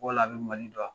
Wala a bɛ mali dɔn